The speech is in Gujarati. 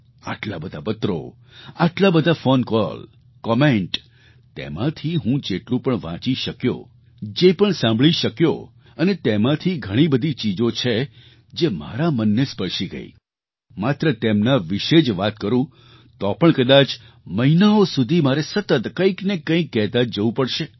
આટલા બધા પત્રો આટલા બધા ફૉન કૉલ કૉમેન્ટ તેમાંથી હું જેટલું પણ વાંચી શક્યો જે પણ સાંભળી શક્યો અને તેમાંથી ઘણી બધી ચીજો છે જે મારા મનને સ્પર્શી ગઈ માત્ર તેમના વિશે જ વાત કરું તો પણ કદાચ મહિનાઓ સુધી મારે સતત કંઈક ને કંઈક કહેતા જ જવું પડશે